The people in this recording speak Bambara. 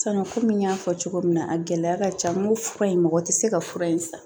kɔmi n y'a fɔ cogo min na a gɛlɛya ka ca n ko fura in mɔgɔ tɛ se ka fura in san